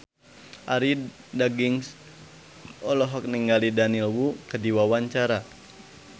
Arie Daginks olohok ningali Daniel Wu keur diwawancara